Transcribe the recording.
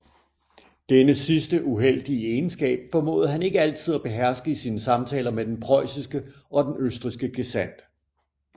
Denne sidste uheldige egenskab formåede han ikke altid at beherske i sine samtaler med den preussiske og den østrigske gesandt